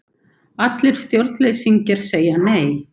allir stjórnleysingjar segja Nei!